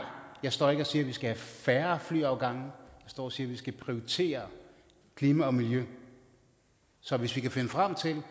jeg står ikke og siger at vi skal have færre flyafgange jeg står og siger at vi skal prioritere klima og miljø så hvis vi kan finde frem til et